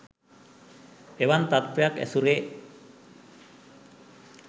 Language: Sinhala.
එවන් තත්ත්වයක් ඇසුරේ